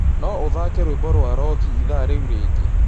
no ũthake rwĩmbo rwa roki ĩthaa rĩũ rĩngĩ